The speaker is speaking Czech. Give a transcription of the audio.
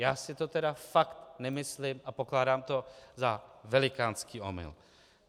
Já si to tedy fakt nemyslím a pokládám to za velikánský omyl.